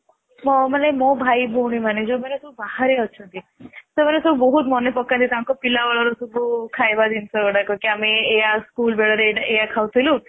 ହଁ ମାନେ ମୋ ଭାଇ ଭଉଣୀ ମାନେ ଯୋଉମାନେ ସବୁ ବାହାରେ ଅଛନ୍ତି ସେମାନେ ସବୁ ବହୁତ ମାନେ ପକାନ୍ତି ତାଙ୍କପିଲା ବେଳର ସବୁ ଖାଇବା ଜିନିଷ ଗୁଡାକ ସବୁ ମାନେ କି ଆମେ ଏଇଆ ଆମେ school ବେଳରେ ସବୁ ଏଇଆ ଖାଉଥିଲୁ